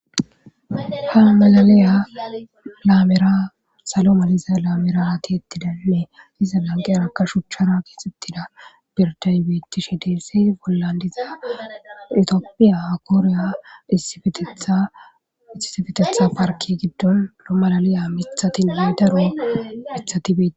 ha malaliya laamera salo maliza laamirati ettidannee iza lanqeerakka shuchchara kexxittida birdaybetishe deesi bollandiza itoophiya akooriya iietethaisxisifetetha parki giddon lo malaliya mithatin maydaro mithati beei